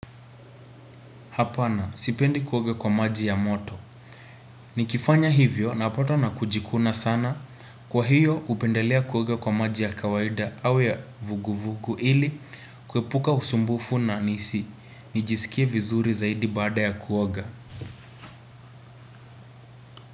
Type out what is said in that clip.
Hapana, sipendi kuoga kwa maji ya moto. Nikifanya hivyo napatwa na kujikuna sana. Kwa hiyo, upendelea kuoga kwa maji ya kawaida au ya vuguvugu ili kuepuka usumbufu na nisi. Nijisikie vizuri zaidi baada ya kuoga.